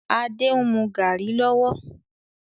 Adé ń mú garri lọ́wọ́